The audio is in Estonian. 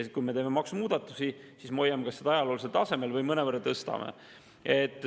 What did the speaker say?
Kui me teeme maksumuudatusi, siis me hoiame seda kas ajaloolisel tasemel või mõnevõrra tõstame.